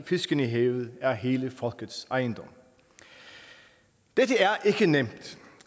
fiskene i havet er hele folkets ejendom dette